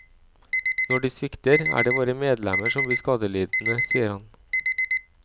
Når de svikter, er det våre medlemmer som blir skadelidende, sier han.